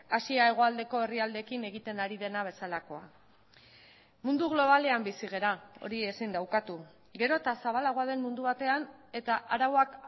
asia hegoaldeko herrialdeekin egiten ari dena bezalakoa mundu globalean bizi gara hori ezin da ukatu gero eta zabalagoa den mundu batean eta arauak